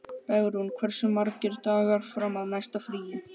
Bergrún, hversu margir dagar fram að næsta fríi?